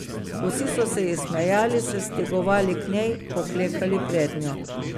Vsi so se ji smehljali, se stegovali k njej, poklekali prednjo.